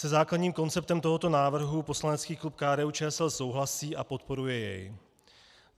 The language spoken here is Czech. Se základním konceptem tohoto návrhu poslanecký klub KDU-ČSL souhlasí a podporuje jej.